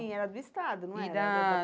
Sim, era do Estado, não era? E da